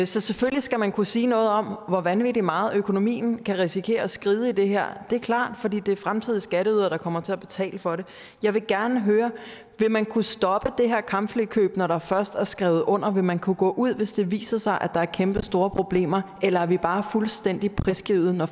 så selvfølgelig skal man kunne sige noget om hvor vanvittig meget økonomien kan risikere at skride i det her det er klart fordi det er fremtidige skatteydere der kommer til at betale for det jeg vil gerne høre vil man kunne stoppe det her kampflykøb når der først er skrevet under vil man kunne gå ud hvis det viser sig at der er kæmpestore problemer eller er vi bare fuldstændig prisgivet når